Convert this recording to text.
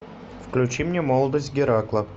включи мне молодость геракла